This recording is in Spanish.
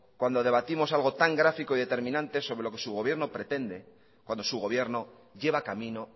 cuando debatimos algo tan gráfico y determinante sobre lo que su gobierno pretende cuando su gobierno lleva camino